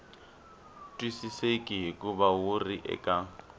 twisiseki hikuva wu ri eka